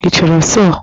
Ị chọrọ sọọ?